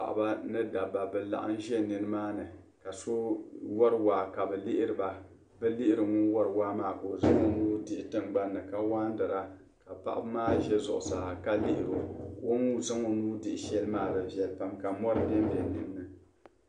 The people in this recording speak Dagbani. Paɣaba ni dabba bi laɣim ʒi nin maa ni ka so wari waa ka bi liɣiri ŋun wari waa maa ka o zaŋ nuu dihi tin gba ni ka wan tira ka paɣa bi maa ʒe zuɣu saa lihiri o o ni zaŋ o nuu dihi shɛli maa di viɛli pam ka mori ben be dinni.